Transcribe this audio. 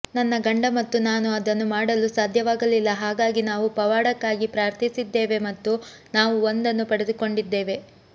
ನನ್ನ ಗಂಡ ಮತ್ತು ನಾನು ಅದನ್ನು ಮಾಡಲು ಸಾಧ್ಯವಾಗಲಿಲ್ಲ ಹಾಗಾಗಿ ನಾವು ಪವಾಡಕ್ಕಾಗಿ ಪ್ರಾರ್ಥಿಸಿದ್ದೇವೆ ಮತ್ತು ನಾವು ಒಂದನ್ನು ಪಡೆದುಕೊಂಡಿದ್ದೇವೆ